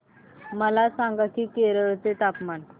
मला सांगा की केरळ चे तापमान